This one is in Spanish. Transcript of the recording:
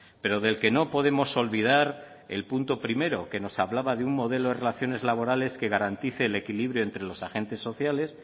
pero del que no podemos olvidar el punto primero que nos hablaba de un modelo de relaciones laborales que garantice el equilibrio entre los agentes sociales